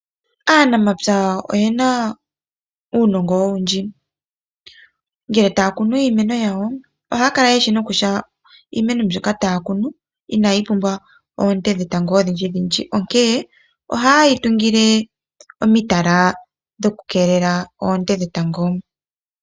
Aanamapya oyena uunongo owundji, ngele taa kunu iimeno yawo ohaa kala yeshi nokutya iimeno mbyoka taa kunu inayi pumbwa oonte dhe tango odhinji dhinji onkee oha yeyi tungile omitala dhoku keelela oonte dhetango.